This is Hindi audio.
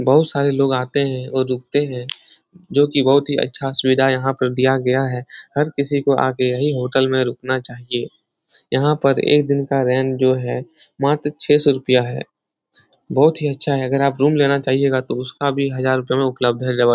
बोहोत सारे लोग आते हैं और रुकते हैं जो कि बोहोत ही अच्छा सुविधा यहाँ पर दिया गया है। हर किसी को आ के यही होटल में रुकना चाहिए। यहाँ पर एक दिन का रेंट जो है मात्र छह सौ रुपया है। बोहोत ही अच्छा है। अगर आप रूम लेना चाहिएगा तो उसका भी हजार रुपया में उपलब्ध है अवैलबल --